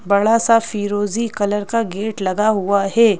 बड़ा सा फिरोजी कलर का गेट लगा हुआ है।